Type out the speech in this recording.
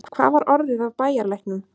Hvað var orðið af bæjarlæknum?